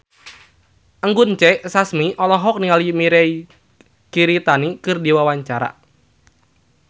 Anggun C. Sasmi olohok ningali Mirei Kiritani keur diwawancara